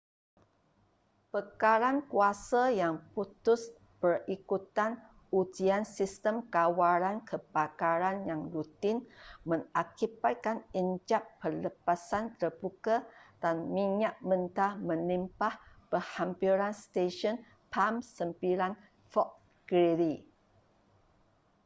bekalan kuasa yang putus berikutan ujian sistem kawalan kebakaran yang rutin mengakibatkan injap pelepasan terbuka dan minyak mentah melimpah berhampiran stesen pam 9 fort greely